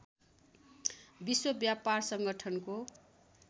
विश्व व्यापार सङ्गठनको